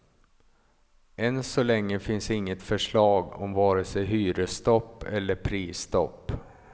Än så länge finns inget förslag om vare sig hyresstopp eller prisstopp.